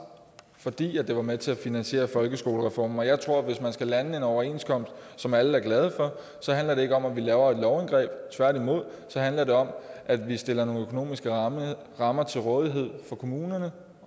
fordi det var med til at finansiere folkeskolereformen jeg tror at hvis man skal lande en overenskomst som alle er glade for så handler det ikke om at vi laver et lovindgreb tværtimod så handler det om at vi stiller nogle økonomiske rammer rammer til rådighed for kommunerne